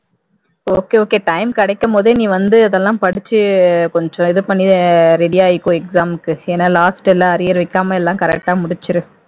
okay okay time கெடைக்கும்போதே நீ வந்து அதெல்லாம் படிச்சு கொஞ்சம் இது பண்ணி ready ஆயிக்கோ exam க்கு. ஏன்னா last எல்லா arrear exam எல்லாம் correct ஆ முடிச்சிரு